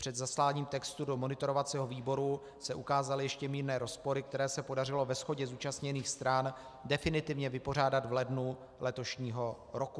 Před zasláním textu do monitorovacího výboru se ukázaly ještě mírné rozpory, které se podařilo ve shodě zúčastněných stran definitivně vypořádat v lednu letošního roku.